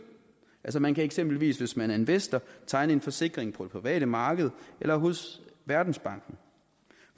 altså man kan eksempelvis hvis man er investor tegne en forsikring på det private marked eller hos verdensbanken